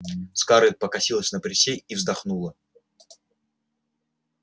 скарлетт покосилась на присей и вздохнула